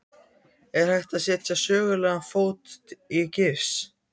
Er hægt að setja sögulegan fót í gifs?